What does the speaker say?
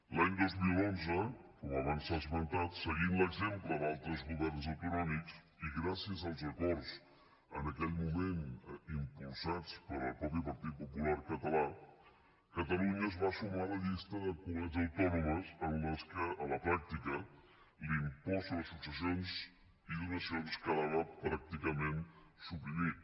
l’any dos mil onze com abans s’ha esmentat seguint l’exemple d’altres governs autonòmics i gràcies als acords en aquell moment impulsats pel mateix partit popular català catalunya es va sumar a la llista de comunitats autònomes en les quals a la pràctica l’impost sobre successions i donacions quedava pràcticament suprimit